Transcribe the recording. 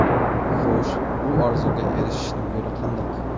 Xo‘sh, bu orzuga erishishning yo‘li qandoq?